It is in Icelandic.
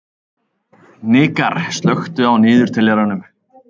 Hnikarr, slökktu á niðurteljaranum.